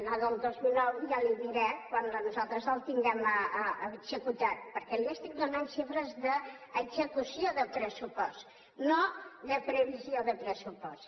la del dos mil nou ja li diré quan nosaltres el tinguem executat perquè li estic donant xifres d’execució de pressupost no de previsió de pressupost